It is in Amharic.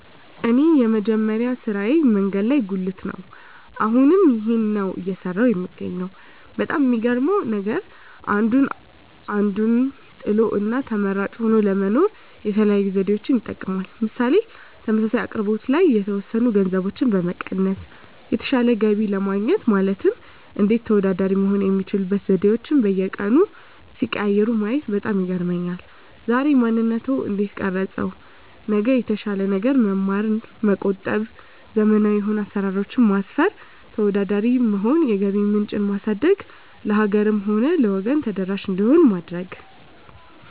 እኔ የመጀመሪያ ስራየ መንገድ ላይ ጉልት ነው አሁንም ይህንን ነው እየሰራሁ የምገኘው በጣም የሚገርመው ነገር አንዱ አንዱን ጥሎ እና ተመራጭ ሆኖ ለመኖር የተለያዩ ዘዴዎችን ይጠቀማል ምሳሌ ተመሳሳይ አቅርቦት ላይ የተወሰኑ ገንዘቦችን በመቀነስ የተሻለ ገቢ ለማግኘት ማለትም እንዴት ተወዳዳሪ መሆን የሚችሉበት ዘዴአቸዉን በየቀኑ ሲቀያይሩ ማየት በጣም ይገርመኛል ዛሬ ማንነትዎን እንዴት ቀረፀው ነገር የተሻለ ነገር መማር መቆጠብ ዘመናዊ የሆኑ አሰራሮች ማስፈን ተወዳዳሪ መሆን የገቢ ምንጭ ማሳደግ ለሀገርም ሆነ ለወገን ተደራሽ እንዲሆን ማድረግ